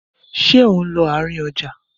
Ṣé ò ń lọ àárín ọjà?